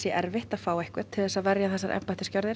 erfitt að fá stjronarliða til að verja þessar gjörðir